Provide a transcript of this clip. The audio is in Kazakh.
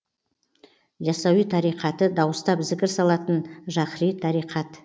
ясауи тариқаты дауыстап зікір салатын жаһри тариқат